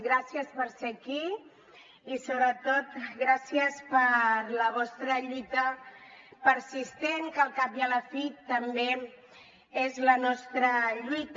gràcies per ser aquí i sobretot gràcies per la vostra lluita persistent que al cap i a la fi també és la nostra lluita